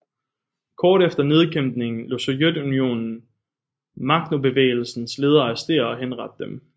Kort efter nedkæmpningen lod Sovjetunionen Maknobevægelsens ledere arrestere og henrettede dem